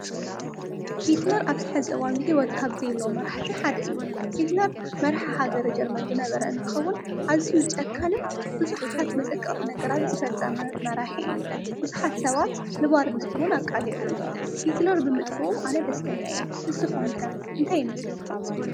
ሂትለር ኣብዚ ሕዚ እዋን ብሕይወት ካብዘ ለ መራሕቲ ሓደ እዩ። ሂትለር መርሒ ሃገር ጀርመን ዝነበረ እንትኸውን ኣዝዩ ጨካንን ብዙሓት መሰቅቕት ነገራት ዝፈጸመ መራሕ እዩ። ብዙኃት ሰባት ንባርነት እውን ኣቃልዑ እዩ። ሂትለር ብምጥፍኡም ኣነ ደስተኛ እየ። ንስኹም ከ እንታይ ይመስለኩም?